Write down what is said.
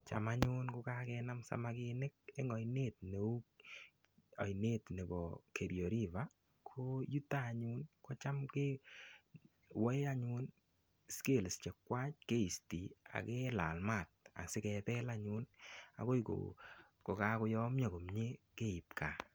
Cham anyun ko kakenam samakinik eng oinet neu, oinet nebo Kerio River ko yuto anyun kocham ke woe anyun scales chekwai, keiste ak kelal mat asikebel anyun agoi kokakoyomyo komye keip kaa.